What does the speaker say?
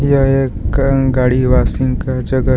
यह एक गाड़ी वाशिंग का जगह है।